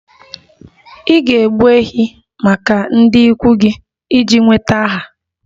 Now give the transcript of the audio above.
Ị ga-egbu ehi maka ndị ikwu gị iji nweta aha